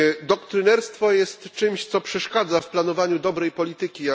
Doktrynerstwo jest czymś, co przeszkadza w planowaniu dobrej polityki.